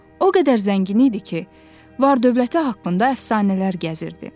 O qədər zəngin idi ki, var-dövləti haqqında əfsanələr gəzirdi.